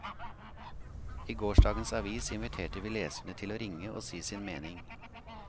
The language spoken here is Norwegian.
I gårsdagens avis inviterte vi leserne til å ringe og si sin mening.